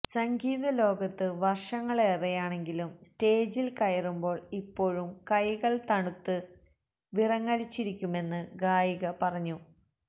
സംഗീത ലോകത്ത് വര്ഷങ്ങളേറെയാണെങ്കിലും സ്റ്റേജില് കയറുമ്പോള് ഇപ്പോഴും കൈകള് തണുത്ത് വിറങ്ങലിച്ചിരിക്കുമെന്ന് ഗായിക പറഞ്ഞു